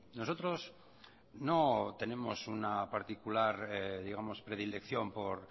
nosotros no tenemos una particular digamos predilección por